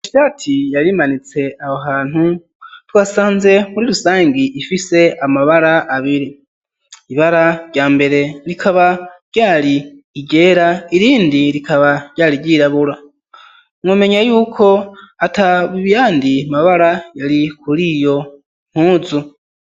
Ishati yari imanitse aho hantu twasanze muri rusangi ifise amabara abiri ibara ryambere rikaba ryari iryera irindi rikaba ryari ryirabura mwomenya yuko atayandi mabara yari kuriyo mpuzu.